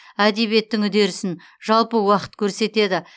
әдебиеттің үдерісін жалпы уақыт көрсетеді